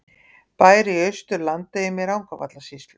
Bær í Austur-Landeyjum í Rangárvallasýslu.